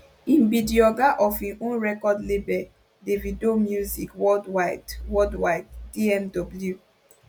im be di oga of im own record lable davido music worldwide worldwide dmw